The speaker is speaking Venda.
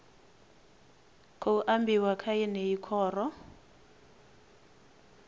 khou ambiwa kha yeneyi khoro